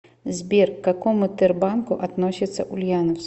сбер к какому тербанку относится ульяновск